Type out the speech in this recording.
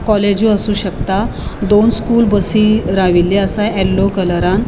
कॉलेजु आसू शकता दोन स्कूल बसी राव्वील्लो असा येलो कलरान .